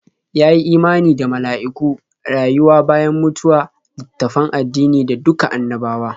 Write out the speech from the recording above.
Ya yi imani da mala'iku, rayuwa bayan mutuwa, littattafan addini da duka annabawa.